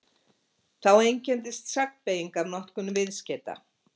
Þá einkenndist sagnbeyging af notkun viðskeyta.